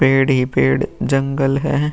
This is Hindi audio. पेड़ ही पेड़ जंगल है।